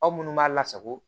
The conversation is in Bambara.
Aw minnu b'a lasago